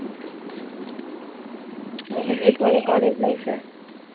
எப்படி போகுது college life உ